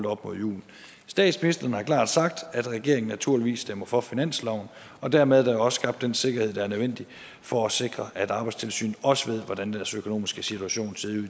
op mod jul statsministeren har klart sagt at regeringen naturligvis stemmer for finansloven og dermed er der jo også skabt den sikkerhed der er nødvendig for at sikre at arbejdstilsynet også ved hvordan deres økonomiske situation